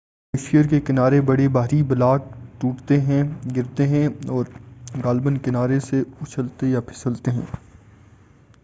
glacier کے کنارے بڑے بھاری بلاک ٹوٹتے ہیں گرتے ہیں اور غالباً کنارے سے اچھلتے یا پھسلتے ہیں